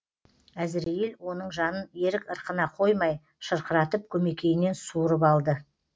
әзірейіл оның жанын ерік ырқына қоймай шырқыратып көмекейінен суырып алды